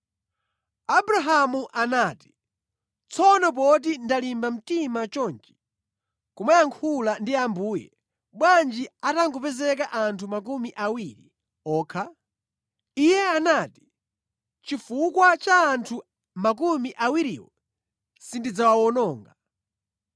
Abrahamu anati, “Tsono poti ndalimba mtima chonchi kumayankhula ndi Ambuye, bwanji atangopezeka anthu makumi awiri okha?” Iye anati, “Chifukwa cha anthu makumi awiriwo, sindidzawuwononga.”